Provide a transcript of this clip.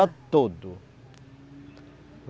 todo